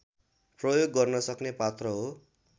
प्रयोग गर्नसक्ने पात्र हो